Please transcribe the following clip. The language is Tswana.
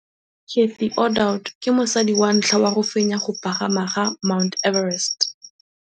Cathy Odowd ke mosadi wa ntlha wa go fenya go pagama ga Mt Everest.